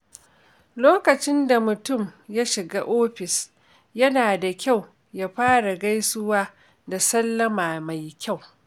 Lokacin da mutum ya shiga ofis, yana da kyau ya fara gaisuwa da sallama mai kyau.